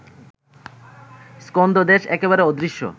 স্কন্ধদেশ একেবারে অদৃশ্য